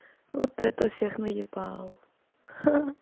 вот это всех наебал ха